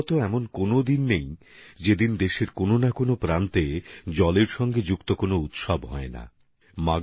ভারতে এমন কোন দিনই হয়তো পাওয়া যাবে না যেদিন দেশের কোন না কোন প্রান্তে জলের সঙ্গে জুড়ে থাকা কোন না কোন উৎসবের আয়োজন নেই